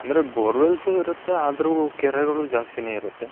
ಅಂದ್ರೆ bore wells ಇರುತ್ತೆ ಆದರು ಕೆರೆಗಳು ಜಾಸ್ತಿನೆ ಇರುತ್ತೆ.